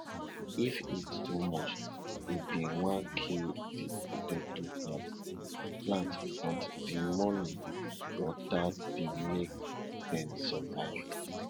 if heat too much e dey wan kill di potato plant plant but di morning water dey make dem survive